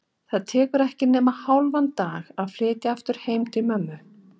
Það tekur ekki nema hálfan dag að flytja aftur heim til mömmu.